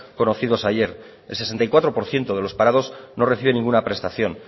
conocidos ayer el sesenta y cuatro por ciento de los parados no recibe ninguna prestación